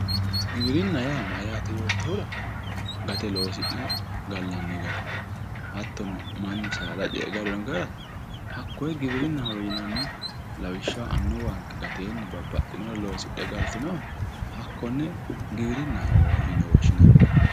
Giwirinna yaa mayate yoottohura gate loosi'nanniha gallanni gara hattono mannu saada ce"e gallino gara hakkoe giwirinahowe yinnanni lawishshaho annuwanke gatenni babbaxinore loosidhe galtinoha hakkone giwirinnaho yinnanni.